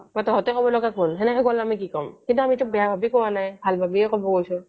বা তহঁতে কব লগা কোন সেনেকে ক'লে আমি কি কম কিন্তু আমি তো বেয়া ভাবি কোৱা নাই ভাল ভাবিহে ক'ব গৈছোঁ